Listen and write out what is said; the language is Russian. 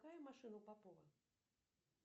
какая машина у попова